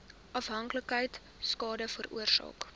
afhanklikheid skade veroorsaak